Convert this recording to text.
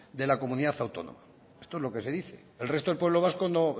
de la comunidad autónoma esto es lo que se dice el resto del pueblo vasco